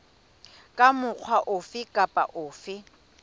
ka mokgwa ofe kapa ofe